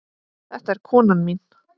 Þetta er konan mín!